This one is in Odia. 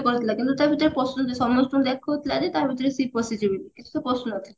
କରୁଥିଲା କିନ୍ତୁ ତା ଭିତରେ ପଶୁଛି ସମସ୍ତଙ୍କୁ ଦେଖୁଥିଲା ଯେ ତା ଭିତରେ ସିଏ ପଶିଛି ବୋଲି କିନ୍ତୁ ସେ ପଶୁନଥିଲା